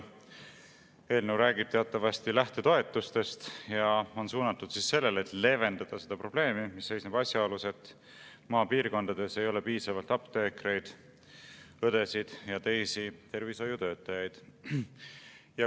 Eelnõu räägib teatavasti lähtetoetustest ja on suunatud sellele, et leevendada seda probleemi, et maapiirkondades ei ole piisavalt apteekreid, õdesid ja teisi tervishoiutöötajaid.